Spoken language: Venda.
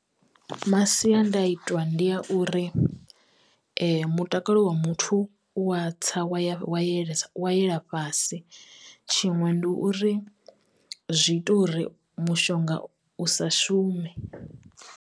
Masiandaitwa ndi a uri mutakalo wa muthu u wa tsa wa ya wa yelesa wa yela fhasi, tshiṅwe ndi uri zwi ita uri mushonga u sa shume.